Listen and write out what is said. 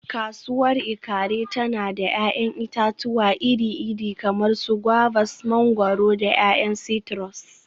Kasuwar Ikaare tana da 'ya'yan itatuwa iri-iri kamar su guavas, mangwaro, da 'ya'yan citrus.